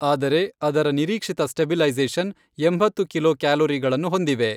ಆದರೆ ಅದರ ನಿರೀಕ್ಷಿತ ಸ್ಟಬಿಲೈಝೇಷನ್ ಎಂಭತ್ತು ಕಿಲೋ ಕ್ಯಾಲೊರಿಗಳನ್ನು ಹೊಂದಿವೆ.